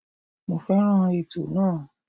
Mo fẹ́ràn ètò náà.